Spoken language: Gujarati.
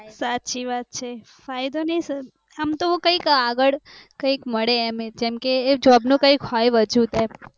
સાચી વાત છે ફાયદો ની આમ તોકયક આગળ મળે કયક મળે જેમ કે એ job નો હોય કૈક વજૂદ